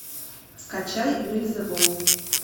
скачай вельзевул